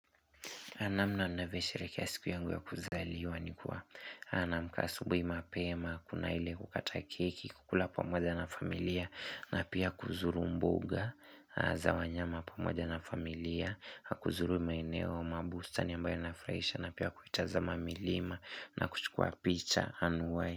Na mna ninavyoshehekea siku yangu ya kuzaliwa ni kuwa naamka asubuhi mapema, kuna ile kukata keki, kukula pamoja na familia na pia kuzuru mbuga za wanyama pamoja na familia, kuzuru maeneo ama bustani ambayo inanifurahisha na pia kuitaza mamilima na kuchukua picha.